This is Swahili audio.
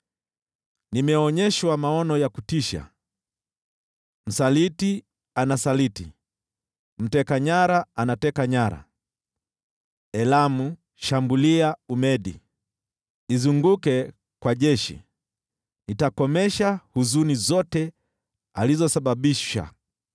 Nimeonyeshwa maono ya kutisha: Msaliti anasaliti, mteka nyara anateka nyara. Elamu, shambulia! Umedi, izunguke kwa jeshi! Nitakomesha huzuni zote alizosababisha.